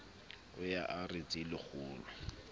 o ye a re tselakgolo